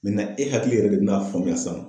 Nin na e hakili yɛrɛ de bi n'a faamuya san